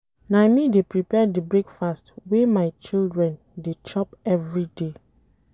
Na me dey prepare di breakfast wey my children dey chop everyday.